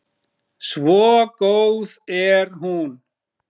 Svo góð er hún.